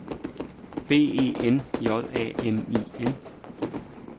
B E N J A M I N